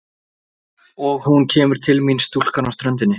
Og hún kemur til mín stúlkan á ströndinni.